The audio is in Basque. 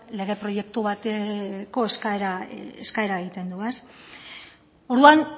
lege proiektu bateko eskaera egiten du orduan